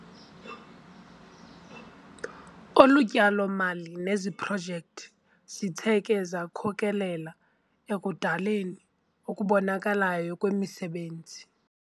Olu tyalo-mali neziprojekthi zithe ke zakhokelela ekudalweni okubonakalayo kwemisebenzi.